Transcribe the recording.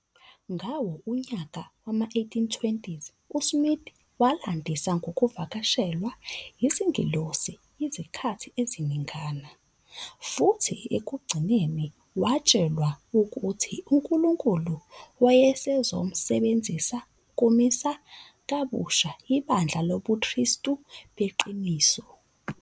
Ngawo-1820s uSmith walandisa ngokuvakashelwa izingelosi izikhathi eziningana, futhi ekugcineni watshelwa ukuthi uNkulunkulu wayezomsebenzisa ukumisa kabusha ibandla lobuKristu beqiniso.